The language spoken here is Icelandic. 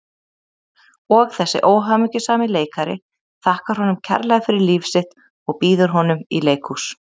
Og þessi óhamingjusami leikari þakkar honum kærlega fyrir líf sitt og býður honum í leikhús.